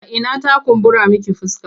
A ina ta kumbura miki fuska?